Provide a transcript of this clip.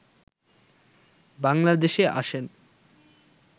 বাংলাদেশে আসেন